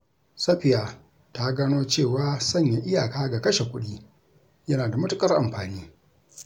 Safiya ta gano cewa sanya iyaka ga kashe kuɗi yana da matukar amfani.